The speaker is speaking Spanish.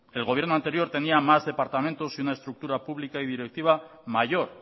el gobierno anterior tenía más departamentos y una estructura pública y directiva mayor